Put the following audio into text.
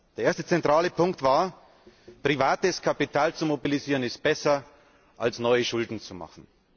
Der erste zentrale Punkt war Privates Kapital zu mobilisieren, ist besser, als neue Schulden zu machen.